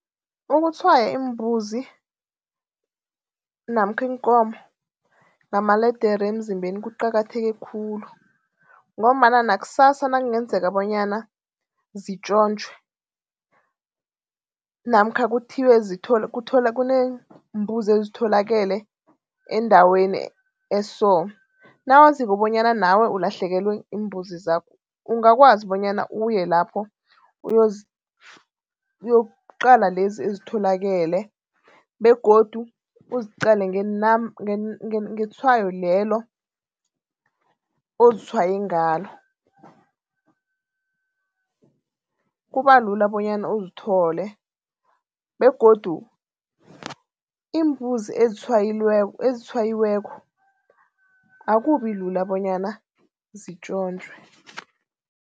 Ukutshwaya iimbuzi namkha iinkomo ngamaledere emzimbeni kuqakatheke khulu. Ngombana nakusasa nakungenzeka bonyana zitjontjwe namkha kuthiwe kuneembuzi ezitholakale endaweni eso. Nawaziko bonyana nawe ulahlekelwe ziimbuzi zakho ungakwazi bonyana uye lapho uyokuqala lezi ezitholakale begodu uziqale ngetshwayo lelo ozitshwaye ngalo. Kubalula bonyana uzithole begodu iimbuzi ezitshwayileko akubilula bonyana zitjontjwe.